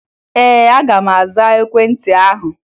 Ee, aga m aza ekwentị ahụ